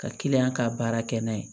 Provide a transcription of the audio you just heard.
Ka ka baara kɛ n'a ye